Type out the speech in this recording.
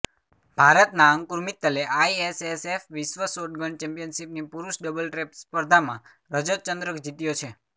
ભારતના અંકુર મિત્તલે આઈએસએસએફ વિશ્વ શોટગન ચેમ્પિયનશીપની પુરૂષ ડબલ ટ્રેપ સ્પર્ધામાં રજતચંદ્રક જીત્યો છે